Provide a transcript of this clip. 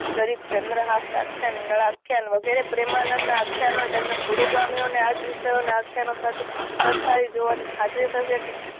ચરિત્ર ચંદ્રહાસ આખ્યાન નળ આખ્યાન વગેરે પ્રેમાનંદ ના આખ્યાનો તેમના પૂર્વ ગામીઓ ના આ જ વિષયો ના આખ્યાનો સાથે સરખાવી જોવાની ખાતરી છે કે